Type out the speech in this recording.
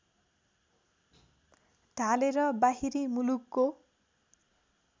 ढालेर बाहिरी मुलुकको